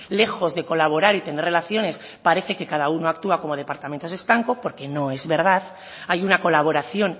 lejos de colaborar y tener relaciones parece que cada uno actúa como departamentos estanco porque no es verdad hay una colaboración